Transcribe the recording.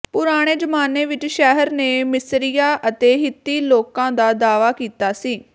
ਪੁਰਾਣੇ ਜ਼ਮਾਨੇ ਵਿਚ ਸ਼ਹਿਰ ਨੇ ਮਿਸਰੀਆਂ ਅਤੇ ਹਿੱਤੀ ਲੋਕਾਂ ਦਾ ਦਾਅਵਾ ਕੀਤਾ ਸੀ